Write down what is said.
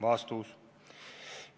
" Vastus.